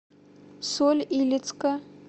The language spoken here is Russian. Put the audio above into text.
соль илецка